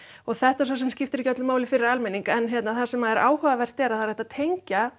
og þetta svo sem skiptir ekki máli fyrir almenning en það sem er áhugavert er að það er hægt að tengja